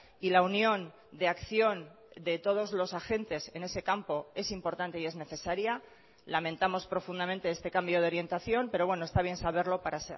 y la unión de acción de todos los agentes en ese campo es importante y es necesaria lamentamos profundamente este cambio de orientación pero bueno está bien saberlo para